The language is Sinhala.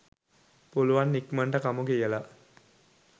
පුළුවන් ඉක්මනට කමු කියල